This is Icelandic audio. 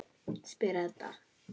spyr Edda.